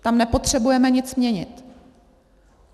Tam nepotřebujeme nic měnit.